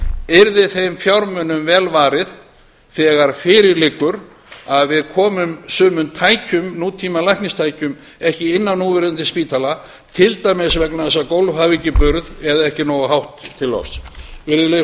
yrði þeim fjármunum vel varið þegar fyrir liggur að við komum sumum tækjum nútímalækningatækjum ekki inn á núverandi spítala vegna þess að gólf hafa ekki burð eða ekki er nógu hátt til lofts virðulegi